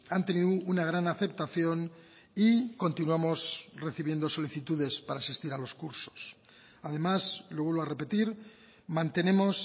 han tenido una gran aceptación y continuamos recibiendo solicitudes para asistir a los cursos además lo vuelvo a repetir mantenemos